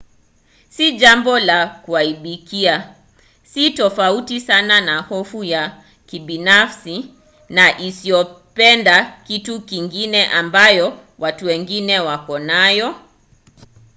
si jambo la kuaibikia: si tofauti sana na hofu ya kibinafsi na isiyopenda vitu vingine ambayo watu wengi wako nayo